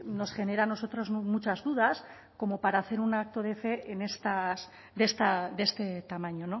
nos genera a nosotros muchas dudas como para hacer un acto de fe de este tamaño